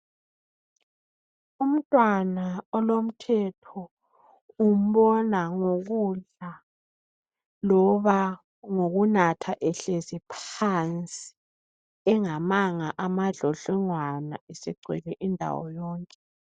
Umntwana olomthetho umbona ngokudla loba ngokunatha ehlezi phansi, engamanga amadlodlongwana esegcwele indawo yonke.